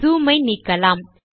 zoom ஐ நீக்கலாம்